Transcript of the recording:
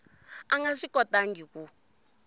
a nga swi kotangi ku